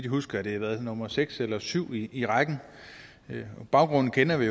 husker er det nummer seks eller syv i rækken baggrunden kender vi